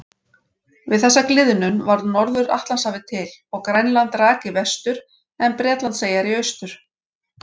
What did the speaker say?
Við þessa gliðnun varð Norður-Atlantshafið til og Grænland rak í vestur en Bretlandseyjar í austur.